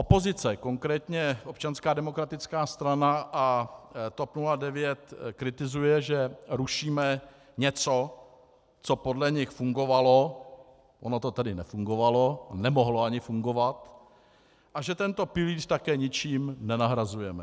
Opozice, konkrétně Občanská demokratická strana a TOP 09, kritizuje, že rušíme něco, co podle nich fungovalo - ono to tedy nefungovalo, nemohlo ani fungovat - a že tento pilíř také ničím nenahrazujeme.